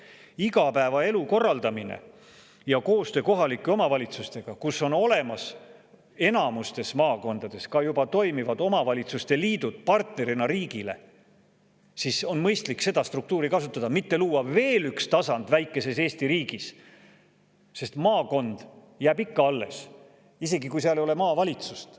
Aga igapäevaelu korraldamisel ja koostööl kohalike omavalitsustega, kus enamikus maakondades on olemas ka juba toimivad omavalitsuste liidud riigi partnerina, on mõistlik seda struktuuri kasutada, mitte luua veel üks tasand väikeses Eesti riigis, sest maakond jääb ikka alles, isegi kui seal ei ole maavalitsust.